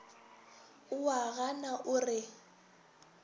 o a gana o re